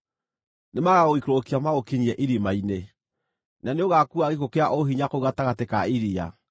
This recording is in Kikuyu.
Nĩmagagũikũrũkia magũkinyie irima-inĩ, na nĩũgaakua gĩkuũ kĩa ũhinya kũu gatagatĩ ka iria.